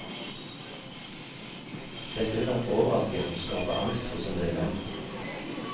Dette vil nok overraske og skape angst hos en del menn.